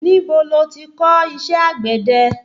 Níbo lo ti kò iṣẹ́ àgbẹ̀de?